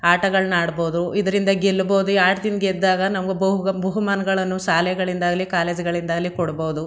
ಆಟಗಳ್ನ ಆಡ್ಬೌದು ಇದರಿಂದ ಗೆಲ್ಬೋದು ಈ ಆಟದಿಂದ ಗೆದ್ದಾಗ ನಮ್ಗ ಬೌ ಗ ಬಹುಮಾನ್ಗಳನ್ನೂ ಸಾಲೆಗಳಿಂದಾಗ್ಲಿ ಕಾಲೇಜು ಗಳಿಂದಾಗ್ಲಿ ಕೊಡ್ಬೋದು.